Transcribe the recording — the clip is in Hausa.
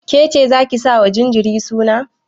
Kece zaki sa wa jinjirin suna?